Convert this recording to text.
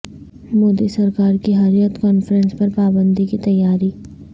مودی سرکار کی حریت کانفرنس پر پابندی کی تیاری